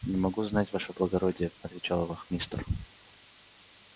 не могу знать ваше благородие отвечал вахмистр